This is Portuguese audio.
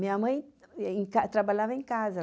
Minha mãe, e em ca trabalhava em casa.